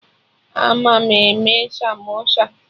Ama m eme samosa